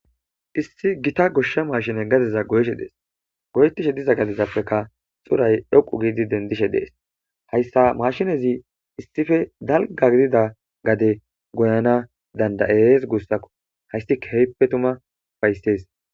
Issi giitta maashiney gaddeza gooyishe dees goyettishe diza gaddezapekka xuray dhoqqu giidi dendishe dees hayssa maashinezii issippe dalgga gidida gooyanas danddayes guussakko hayssi keehippe tuma uffayses